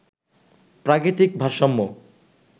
প্রাকৃতিক ভারসাম্য